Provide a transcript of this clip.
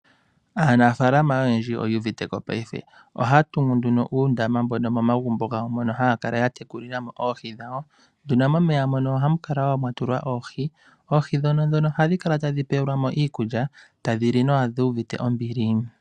Aanafaalama oyendji oyuuviteko paife. Ohaya tungu nduno uundama mbono momagumbo gawo mono haya kala ya tekulilamo oohi dhawo. Nduno momeya mono ohamu kala wo mwatulwa oohi, oohi dhono nduno ohadhi kala tadhi pewelwamo iikulya tadhili nawa dhi uvite ombili.